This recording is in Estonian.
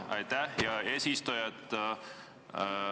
Aitäh, hea eesistuja!